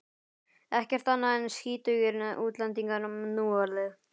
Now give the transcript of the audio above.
Ekkert annað en skítugir útlendingar núorðið.